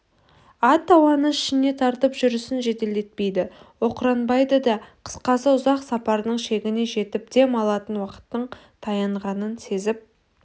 ат ауаны ішіне тартып жүрісін жеделдетпейді оқыранбайды да қысқасы ұзақ сапардың шегіне жетіп дем алатын уақыттың таянғанын сезіп